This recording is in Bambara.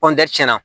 cɛn na